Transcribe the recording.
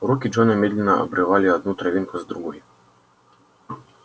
руки джона медленно обрывали одну травинку за другой